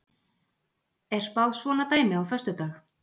Er spáð svona dæmi á föstudag?